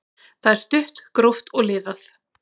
Það er stutt, gróft og liðað.